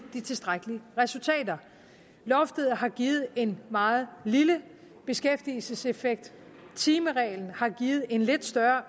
tilstrækkelige resultater loftet har givet en meget lille beskæftigelseseffekt timereglen har givet en lidt større